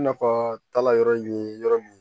Nafa taala yɔrɔ ye yɔrɔ min ye